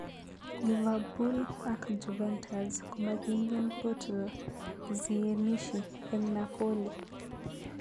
Liverpool ak Juventus komakingen poartl zielinshi eng Napoli